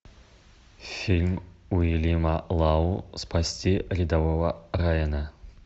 фильм уильяма лау спасти рядового райана